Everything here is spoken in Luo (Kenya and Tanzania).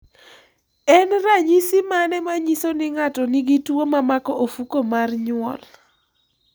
En ranyisi mane ma nyiso ni ng'ato nigi tuwo mamako ofuko mar nywol?